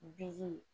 Bi